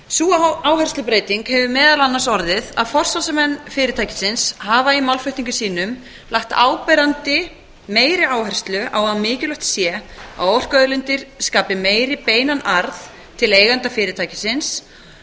sú áherslubreyting hefur meðal annars orðið að forsvarsmenn fyrirtækisins hafa í málflutningi sínum lagt áberandi meiri áherslu á að mikilvægt sé að orkuauðlindir skapi meiri beinan arð til eigenda fyrirtækisins